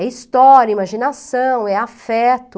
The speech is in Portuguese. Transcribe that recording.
É história, imaginação, é afeto.